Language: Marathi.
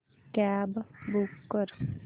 कॅब बूक कर